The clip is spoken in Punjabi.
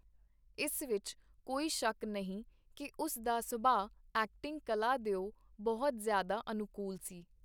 ਇਸ ਵਿਚ ਕੋਈ ਸ਼ੱਕ ਨਹੀਂ ਕੀ ਉਸ ਦਾ ਸੁਭਾਅ ਐਕਟਿੰਗ-ਕਲਾ ਦਿਓ ਬਹੁਤ ਜ਼ਿਆਦਾ ਅਨੁਕੂਲ ਸੀ.